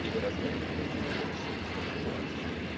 или разметкой или там чем-нибудь ещё не важно